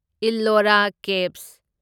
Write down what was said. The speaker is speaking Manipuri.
ꯏꯜꯂꯣꯔꯥ ꯀꯦꯚꯁ